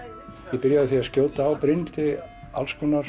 ég byrjaði á því að skjóta á Brynhildi